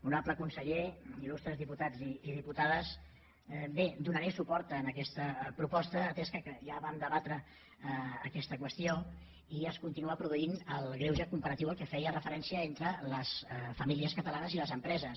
honorable conseller illustres diputats i diputades bé donaré suport en aquesta proposta atès que ja vam debatre aquesta qüestió i es continua produint el greuge comparatiu a què feia referència entre les famílies catalanes i les empreses